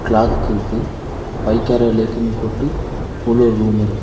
Clock இருக்கு பைக்காரா லேக்கின் போட்டு உள்ள ஒரு ரூம் இருக்கு.